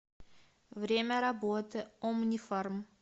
время работы омнифарм